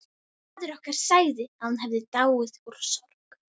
Faðir okkar sagði að hún hefði dáið úr sorg.